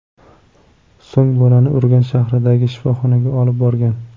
So‘ng bolani Urganch shahridagi shifoxonaga olib borgan.